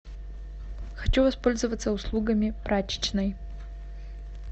хочу воспользоваться услугами прачечной